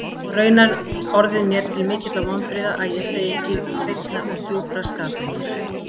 Og raunar orðið mér til mikilla vonbrigða, að ég segi ekki hreinnar og djúprar skapraunar.